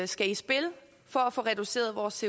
skal i spil for at få reduceret vores